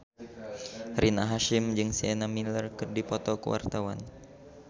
Rina Hasyim jeung Sienna Miller keur dipoto ku wartawan